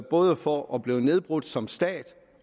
både for at blive nedbrudt som stat